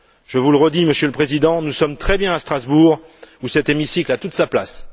Je vous le redis, Monsieur le Président, nous sommes très bien à Strasbourg, où cet hémicycle a toute sa place.